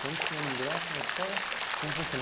Quando o senhor ingressa na escola, como funciona?